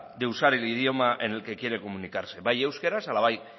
de usar el idioma en el que quiere comunicarse bai euskaraz ala bai